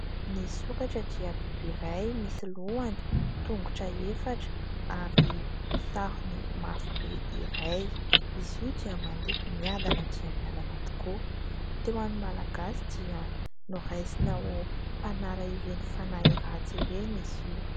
Ny sokatra dia biby iray misy lohany, tongotra efatra, ary sarony mafy be iray. Izy io dia mandeha miadana dia miadana tokoa. Teo amin' ny Malagasy dia noraisina ho mpanala ireny fanahy ratsy ireny izy io.